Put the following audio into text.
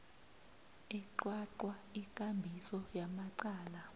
eqwaqwa ikambiso yamacala